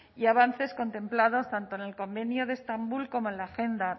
y avances contemplados tanto en el convenio de estambul como en la agenda